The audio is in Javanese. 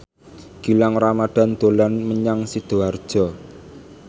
Gilang Ramadan dolan menyang Sidoarjo